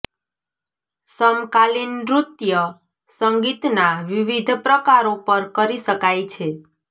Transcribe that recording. સમકાલીન નૃત્ય સંગીતના વિવિધ પ્રકારો પર કરી શકાય છે